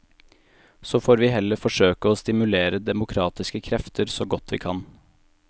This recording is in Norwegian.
Så får vi heller forsøke å stimulere demokratiske krefter så godt vi kan.